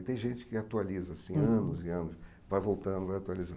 E tem gente que atualiza, assim anos e anos, vai voltando, vai atualizando.